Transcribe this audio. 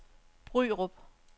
Bryrup